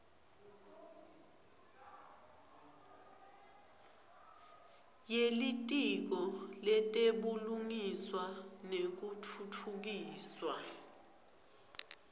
yelitiko letebulungiswa nekutfutfukiswa